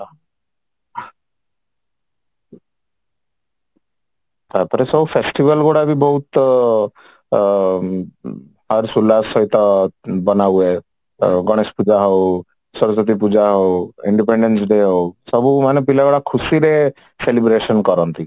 ତାପରେ ବି ସବୁ festival ଗୁଡା ବହୁତ ହର୍ଷ ଉଲ୍ଲାଶ ସହିତ ବନା ହୁଆହେ ଗଣେଶ ପୂଜା ହଉ ସରସ୍ଵତୀ ପୂଜା ହଉ independence day ହଉ ସବୁମାନେ ପିଲାଗୁଡା ଖୁସିରେ celebration କରନ୍ତି